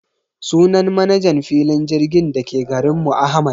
Sunan manajan filin jirgin dake garinmu Ahmad